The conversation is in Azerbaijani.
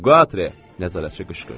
Qatre, nəzarətçi qışqırdı.